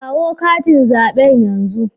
Kawo katin zabe yanzu.